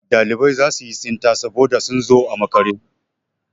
Ɗalibai za su yi tsinta saboda sun zo a makare.